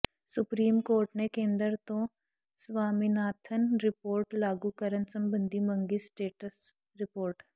supreme court ਨੇ ਕੇਂਦਰ ਤੋਂ ਸਵਾਮੀਨਾਥਨ ਰਿਪੋਰਟ ਲਾਗੂ ਕਰਨ ਸਬੰਧੀ ਮੰਗੀ ਸਟੇਟਸ ਰਿਪੋਰਟ